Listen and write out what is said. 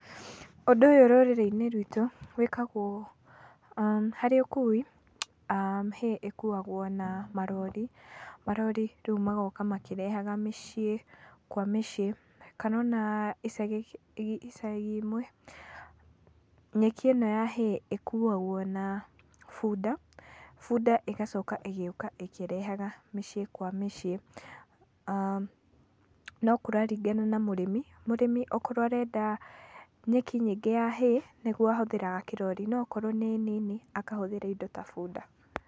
Ũndũ ũyũ rũrĩrĩ-inĩ rwitũ, wĩkagwo ũũ, harĩ ũkui, hay ĩkuwagwo na marori, marori magoka makĩrehaga mĩciĩ kwa mĩciĩ, kana ona icagi imwe, nyeki ĩno ya hay ĩkuwagwo na bunda, bunda ĩgoka ĩgoka ĩkerehaga mĩciĩ kwa mĩciĩ. No kũraringana na mũrĩmi, mũrĩmi akorwo arenda nyeki nyingĩ ya hay nĩgu ahuthagĩra kĩrori, no akorwo nĩ nini, akahũthĩra indo ta bunda.